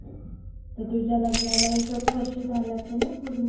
तर तुझ्या लग्नाला एकच वर्ष झालं असेलना पुर्ण.